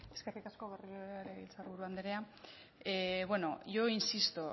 eskerrik asko berriro ere legebiltzarburu andrea bueno yo insisto